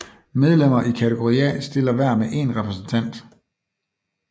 Medlemmer i kategori A stiller hver med én repræsentant